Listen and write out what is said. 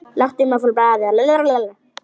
Láttu mig fá blaðið!